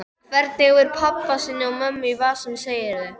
Hvernig hefur hann pabba sinn og mömmu í vasanum, segirðu?